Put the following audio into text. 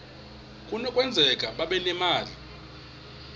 kunokwenzeka babe nemali